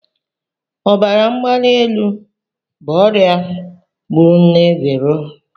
Ọbara mgbali elu bụ ọrịa gburu nne Vero.